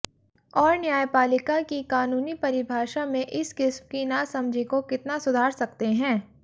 और न्यायपालिका की कानूनी परिभाषा में इस किस्म की नासमझी को कितना सुधार सकते हैं